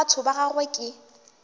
a batho ga gagwe ke